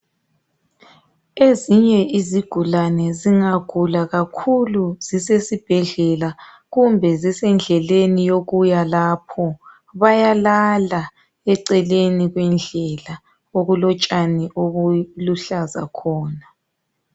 Ezinye izigulane zingagula kakhulu zise sibhedlela. Kumbe endleleni yokuyakhona. Bayalala eceleni kwendlela. Okulotshani obuluhlaza khona.